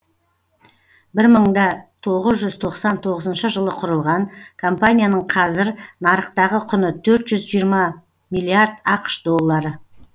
бір мың да тоғыз жүз тоқсан тоғызыншы жылы құрылған компанияның қазір нарықтағы құны төрт жүз жиырма миллиард ақш доллары